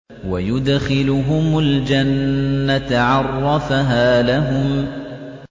وَيُدْخِلُهُمُ الْجَنَّةَ عَرَّفَهَا لَهُمْ